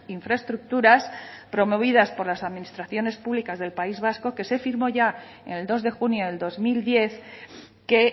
infraestructuras promovidas por las administraciones públicas del país vasco que se firmó ya en el dos de junio del dos mil diez que